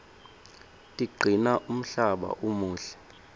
tigcina umhlaba umuhle